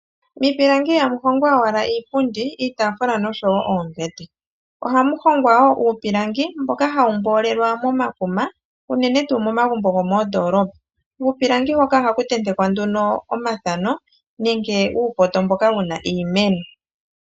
Miipilangi ihamu hongwa owala iipundi, iitaafula nosho wo oombete. Ohamu hongwa wo uupilangi, mboka hawu mboolelwa momakuma, unene tuu momagumbo gomoondoolopa. Kuupilangi hoka ohaku tentekwa nduno omathano, nenge uupoto mboka wu na iimeno.